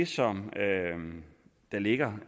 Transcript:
som der ligger